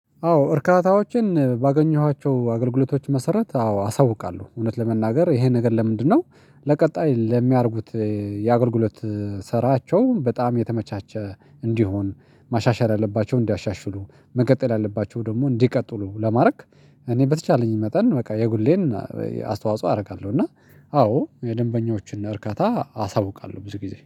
አዎ እርካታዎችን ባገኘኋቸው አገልግሎቶች መሰረት አዎ አሳውቃለሁ እውነት ለመናገር ይሄን ነገር ለምንድነው? ለቀጣይ ለሚያደርጉት የአገልግሎት ስራቸው በጣም የተመቻቸ እንዲሆን ማሻሻል ያለባቸውን እንዲያሻሽሉ መቀጠል ያለባቸውን ደግሞ እንዲቀጥሉ ለማድረግ። እኔ በተቻለኝ መጠን በቃ የግሌን አስተዋጽኦ አደርጋለሁ እና አዎ የደንበኞቹን እርካታ አሳውቃለሁ። ብዙ ጊዜ